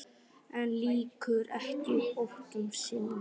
En lýkur ekki hótun sinni.